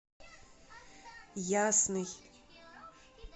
ясный